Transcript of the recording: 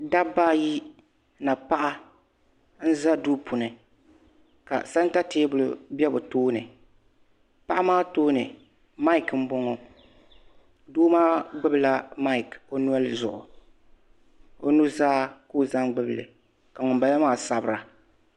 Dabba ayi ni paɣa n za duu puuni ka santa teebuli biɛ bɛ tooni paɣa maa tooni maaki m boŋɔ doo maa gbibi la maaki o noli zuɣu o nuzaa ka o zaŋ gbibi li ka ŋun balaaa sabira.